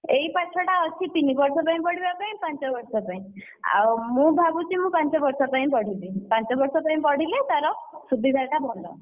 ଏଇ ପାଠଟା ଅଛି ତିନି ବର୍ଷ ପାଇଁ ପଢିବା ପାଇଁ ପାଞ୍ଚ ବର୍ଷ ପାଇଁ ଆଉ ମୁଁ ଭାବୁଛି ମୁଁ ପାଞ୍ଚ ବର୍ଷ ପାଇଁ ପଢିବି, ପାଞ୍ଚ ବର୍ଷ ପାଇଁ ପଢିଲେ ତାର ସୁବିଧା ଟା ଭଲ।